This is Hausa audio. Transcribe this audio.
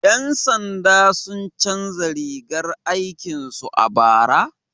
Yan sanda sun canza rigar aikin su a bara?